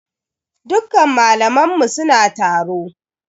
Dukkan malaman mu suna taro.